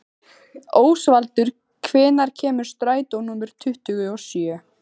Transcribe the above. Ósvaldur, hvenær kemur strætó númer tuttugu og sjö?